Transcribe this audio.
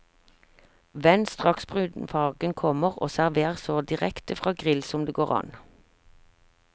Vend straks brunfargen kommer og servér så direkte fra grill som det går an.